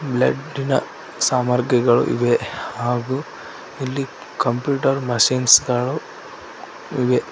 Bloody ನ ಸಾಮರ್ಗಿಗಳು ಇವೆ ಹಾಗು ಇಲ್ಲಿ ಕಂಪ್ಯೂಟರ್ ಮಸಿನ್ಸ್ ಗಳು ಇವೆ.